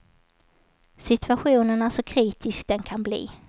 Situationen är så kritisk den kan bli.